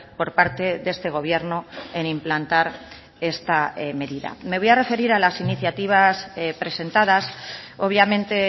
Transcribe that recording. por parte de este gobierno en implantar esta medida me voy a referir a las iniciativas presentadas obviamente